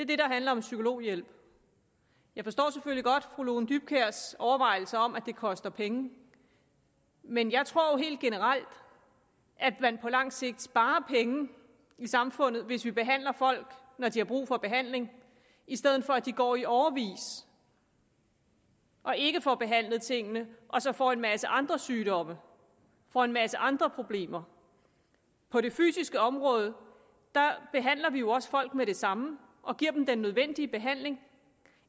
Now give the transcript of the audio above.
det der handler om psykologhjælp jeg forstår selvfølgelig godt fru lone dybkjærs overvejelser om at det koster penge men jeg tror jo helt generelt at man på lang sigt sparer penge i samfundet hvis vi behandler folk når de har brug for behandling i stedet for at de går i årevis og ikke får behandlet tingene og så får en masse andre sygdomme og en masse andre problemer på det fysiske område behandler vi jo også folk med det samme og giver dem den nødvendige behandling